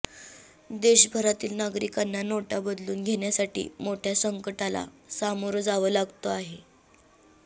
देशभरातील नागरिकांना नोटा बदलून घेण्यासाठी मोठ्या संकटाला सामोरं जावं लागतं आहे